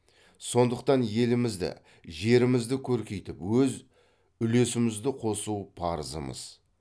сондықтан елімізді жерімізді көркейтіп өз үлесімізді қосу парызымыз